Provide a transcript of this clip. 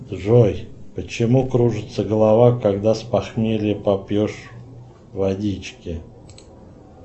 джой почему кружится голова когда с похмелья попьешь водички